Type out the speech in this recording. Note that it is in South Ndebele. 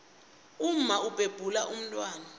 umma ubhebhula umntwana